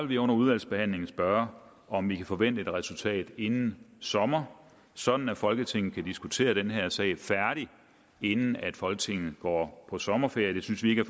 vi under udvalgsbehandlingen spørge om vi kan forvente et resultat inden sommer sådan at folketinget kan diskutere den her sag færdig inden folketinget går på sommerferie det synes vi ikke